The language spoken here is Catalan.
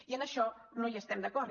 i en això no hi estem d’acord